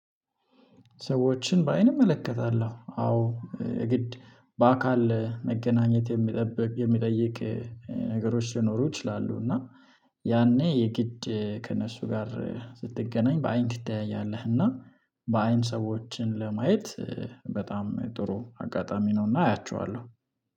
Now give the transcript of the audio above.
ሰዎችን በአይን እመለከታለሁ አዎ ግድ በአካል መገናኘት የሚጠብቅ የሚጠይቅ ነገሮች ሊኖሩ ይችላሉ። እና ያኔ የግድ ከእነሱ ጋር ስትገናኝ በአይን ትተያያለህ እና በአይን ሰዎችን ለማየት በጣም ጥሩ አጋጣሚ ነውና። አያችኋለሁ